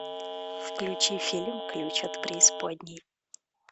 включи фильм ключ от преисподней